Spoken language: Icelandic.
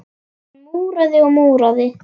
Hann múraði og múraði.